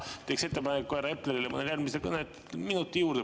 Mina teeks ettepaneku panna härra Eplerile mõnel järgmise kõne puhul minuti juurde.